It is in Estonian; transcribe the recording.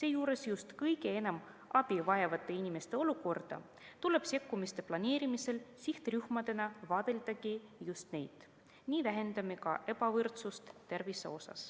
seejuures just kõige enam abi vajavate inimeste olukorda, tuleb sekkumiste planeerimisel sihtrühmadena vaadeldagi just neid, nii vähendame ka ebavõrdsust tervise puhul.